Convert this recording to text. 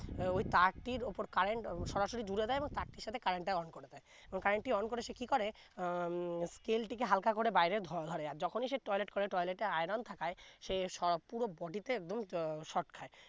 আহ ওই তার টি উপর current সরাসরি জুরে দেয় এবং তার টির সাথে current টি on করে দেয় এবং current টি on করে সে কি করে আহ উম scale টিকে হাল্কা করে বাইরে ধ¬ ধরে যখনি সে toilet করে toilet এ iron থাকায় সে সো পুরো body তে একদম shock খায়